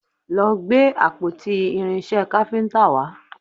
Lọ gbé àpótí irinṣẹ́ káfíntà wá!